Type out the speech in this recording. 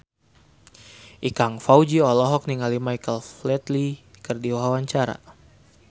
Ikang Fawzi olohok ningali Michael Flatley keur diwawancara